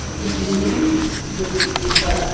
একটি বিল্ডিং যেটি তিন তলা।